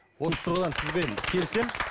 осы тұрған сізбен келісемін